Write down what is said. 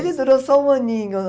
Ele durou só um aninho.